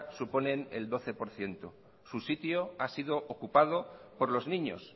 suponen el doce por ciento su sitio ha sido ocupado por los niños